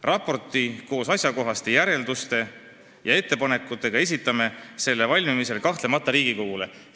Raporti koos asjakohaste järelduste ja ettepanekutega esitame selle valmimisel kahtlemata Riigikogule.